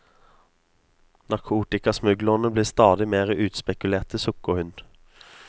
Narkotikasmuglerne blir stadig mer utspekulerte, sukker hun.